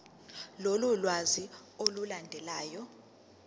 lolu lwazi olulandelayo